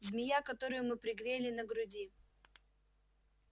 змея которую мы пригрели на груди